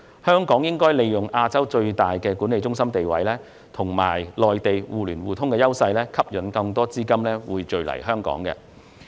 香港應利用其作為亞洲最大資產及財富管理中心的地位，以及與內地互聯互通的優勢，吸引更多資金匯聚香港。